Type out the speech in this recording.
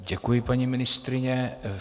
Děkuji, paní ministryně.